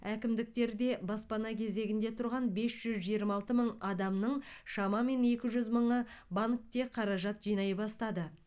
әкімдіктерде баспана кезегінде тұрған бес жүз жиырма алты мың адамның шамамен екі жүз мыңы банкте қаражат жинай бастады